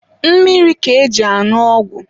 Mmiri ka eji añụ ọgwụ.